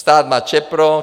Stát má ČEPRO.